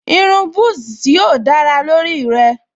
Irun búsí yóò dára lórí rẹ̀